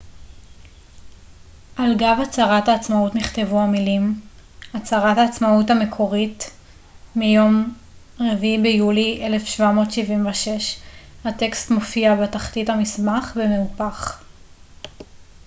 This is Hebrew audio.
על גב הצהרת העצמאות נכתבו המילים הצהרת העצמאות המקורית מיום 4 ביולי 1776 הטקסט מופיע בתחתית המסמך במהופך